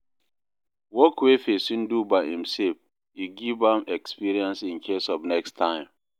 work wey pesin do by imself go give am experience incase of next time